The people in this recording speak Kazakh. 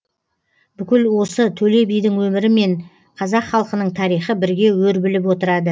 бүкіл осы төле бидің өмірі мен қазақ халқының тарихы бірге өрбіліп отырады